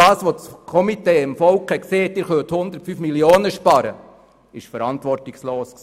Und dass das Komitee dem Volk gesagt hat, man könne 105 Mio. Franken sparen, war verantwortungslos.